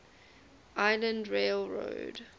island rail road